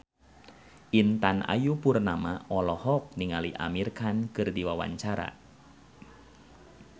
Intan Ayu Purnama olohok ningali Amir Khan keur diwawancara